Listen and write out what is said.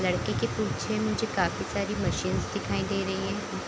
लड़के के पीछे मुझे काफी मशीनस दिखाई दे रही है।